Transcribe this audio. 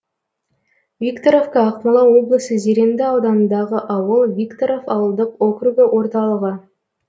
викторовка ақмола облысы зеренді ауданындағы ауыл викторов ауылдық округі орталығы